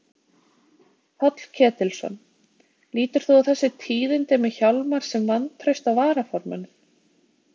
Páll Ketilsson: Lítur þú á þessi tíðindi með Hjálmar sem vantraust á varaformanninn?